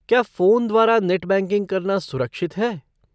क्या फ़ोन द्वारा net banking करना सुरक्षित है?